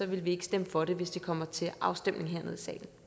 vil vi ikke stemme for det hvis det kommer til afstemning hernede